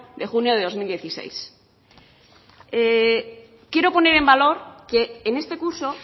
de junio de dos mil dieciséis quiero poner en valor que en este curso